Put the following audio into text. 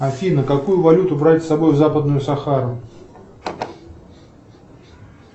афина какую валюту брать с собой в западную сахару